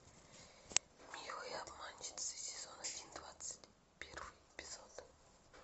милые обманщицы сезон один двадцать первый эпизод